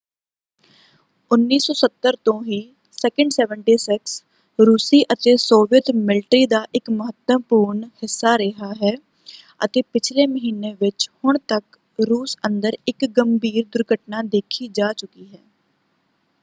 1970 ਤੋਂ ਹੀ il-76 ਰੂਸੀ ਅਤੇ ਸੋਵੀਅਤ ਮਿਲਟਰੀ ਦਾ ਇੱਕ ਮਹੱਤਵਪੂਰਨ ਹਿੱਸਾ ਰਿਹਾ ਹੈ ਅਤੇ ਪਿਛਲੇ ਮਹੀਨੇ ਵਿੱਚ ਹੁਣ ਤੱਕ ਰੂਸ ਅੰਦਰ ਇੱਕ ਗੰਭੀਰ ਦੁਰਘਟਨਾ ਦੇਖੀ ਜਾ ਚੁੱਕੀ ਹੈ।